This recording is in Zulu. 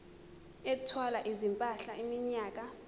ethwala izimpahla iminyaka